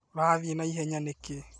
Ũrathiĩ na ihenya nĩkĩ?